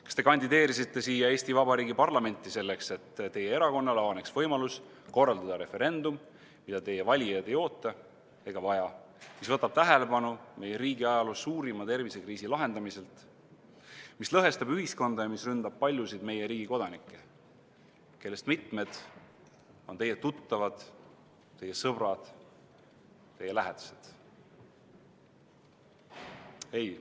Kas te kandideerisite siia Eesti Vabariigi parlamenti selleks, et teie erakonnal avaneks võimalus korraldada referendum, mida teie valijad ei oota ega vaja, mis võtab tähelepanu meie riigi ajaloo suurima tervisekriisi lahendamiselt, mis lõhestab ühiskonda ja mis ründab paljusid meie riigi kodanikke, kellest mitmed on teie tuttavad, sõbrad, lähedased?